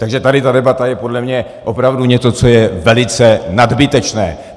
Takže tady ta debata je podle mě opravdu něco, co je velice nadbytečné.